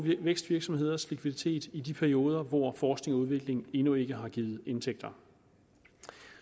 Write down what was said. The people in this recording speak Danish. vækstvirksomheders likviditet i de perioder hvor forskning og udvikling endnu ikke har givet indtægter